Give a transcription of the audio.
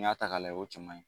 Ni y'a ta ka layɛ o cɛ maɲin.